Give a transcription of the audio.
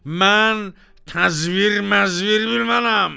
Mən təzvir məzvir bilmərəm.